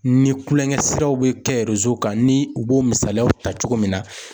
Ni kulonkɛ siraw bɛ kɛ kan ni u b'o misaliyaw ta cogo min na.